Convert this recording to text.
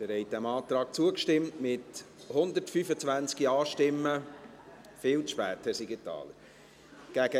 Sie haben diesem Antrag zugestimmt, mit 125 Ja- gegen 1 Nein-Stimmen bei 1 Enthaltung.